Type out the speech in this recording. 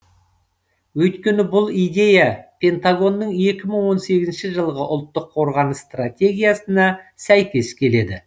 өйткені бұл идея пентагонның екі мың он сегізінші жылғы ұлттық қорғаныс стратегиясына сәйкес келеді